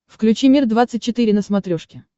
включи мир двадцать четыре на смотрешке